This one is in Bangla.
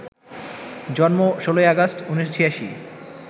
জন্ম ১৬ই আগস্ট, ১৯৮৬